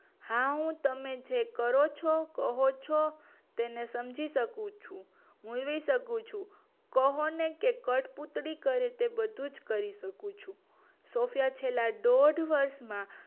હા હું તમે જે કહો ચો કરો ચો તને હું સમજી શકું છું કહો ને કે હું કટપુતળી કરે તે બધું જ કરી શકું છું સૉફયા છેલ્લા દોઢ વર્ષમાં